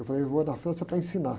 Eu falei, vou na França para ensinar.